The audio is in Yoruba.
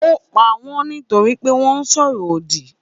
Ó pa wọ́n nítorí pé wọ́n sọ̀rọ̀ òdì.